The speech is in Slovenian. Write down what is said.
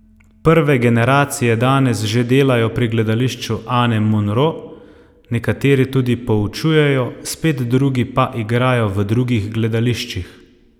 Prve generacije danes že delajo pri Gledališču Ane Monro, nekateri tudi poučujejo, spet drugi pa igrajo v drugih gledališčih.